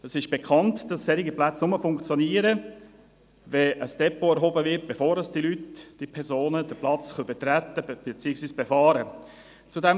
Es ist bekannt, dass solche Plätze nur funktionieren, wenn ein Depot erhoben wird, bevor diese Leute, diese Personen den Platz betreten, beziehungsweise befahren können.